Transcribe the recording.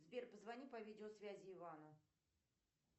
сбер позвони по видеосвязи ивану